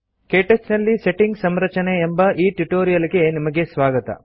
ಕೇಟಚ್ ನಲ್ಲಿ ಸೆಟ್ಟಿಂಗ್ ಸಂರಚನೆ ಎಂಬ ಈ ಟ್ಯುಟೋರಿಯಲ್ ಗೆ ನಿಮಗೆ ಸ್ವಾಗತ